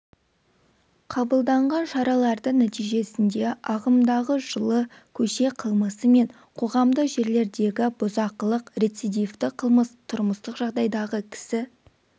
қабылданған шаралардың нәтижесінде ағымдағы жылы көше қылмысы мен қоғамдық жерлердегі бұзақылық рецидивті қылмыс тұрмыстық жағдайдағы кісі